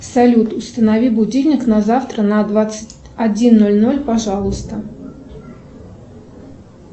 салют установи будильник на завтра на двадцать один ноль ноль пожалуйста